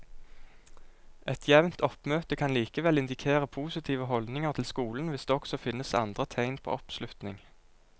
Et jevnt oppmøte kan likevel indikere positive holdninger til skolen hvis det også finnes andre tegn på oppslutning.